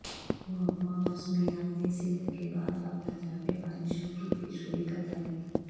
محکمہ موسمیات نے سندھ کے بعد اب پنجاب میں بارشوں کی پیشگوئی کرڈالی